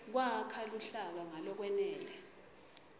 kwakha luhlaka ngalokwenele